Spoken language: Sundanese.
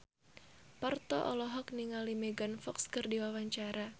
Parto olohok ningali Megan Fox keur diwawancara